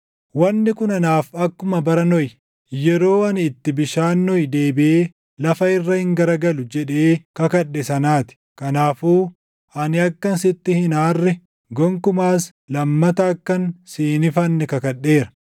“Wanni kun anaaf akkuma bara Nohi, yeroo ani itti bishaan Nohi deebiʼee lafa irra hin garagalu jedhee // kakadhe sanaa ti. Kanaafuu ani akkan sitti hin aarre, gonkumaas lammata akkan si hin ifanne kakadheera.